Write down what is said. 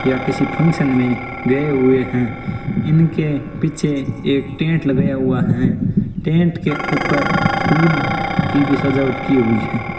या किसी फंक्शन में गए हुए हैं इनके पीछे एक टेंट लगया हुआ है टेंट के ऊपर फूल की भी सजावट की हुई है।